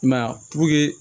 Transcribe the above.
I m'a ye a puruke